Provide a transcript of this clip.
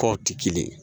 Tɔw tɛ kelen ye